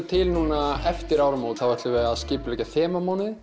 til núna eftir áramót þá ætlum við að skipuleggja